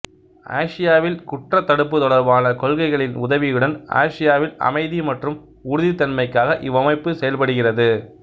ஆசியாவில் குற்றத் தடுப்பு தொடர்பான கொள்கைகளின் உதவியுடன் ஆசியாவில் அமைதி மற்றும் உறுதித்தன்மைக்காக இவ்வமைப்பு செயல்படுகிறது